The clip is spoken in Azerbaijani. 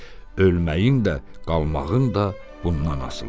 Ölməyin də, qalmağın da bundan asılıdır.